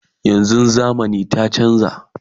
yanzun zamani ta chanza